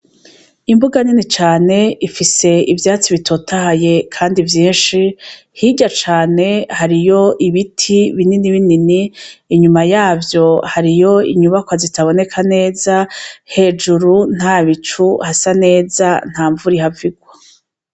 Imbuga nini cane ifise ivyatsi bitotahaye kandi vyinshi hirya cane hariyo ibiti binini binini inyuma yavyo hariho inyubakwa zitaboneka neza hejuru nta bicu hasa neza nta mvura ihava igwa.